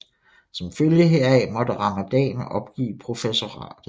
Som følge heraf måtte Ramadan opgive professoratet